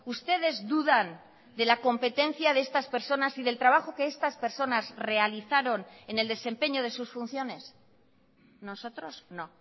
ustedes dudan de la competencia de estas personas y del trabajo que estas personas realizaron en el desempeño de sus funciones nosotros no